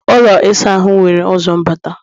ụlọ ịsa ahụ nwere ụzọ mbata